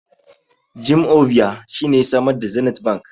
Jim Ovia shine ya samar da Zenith bank